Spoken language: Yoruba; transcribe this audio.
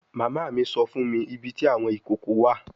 Mama mi sọ fun mi ibiti awọn ikoko wa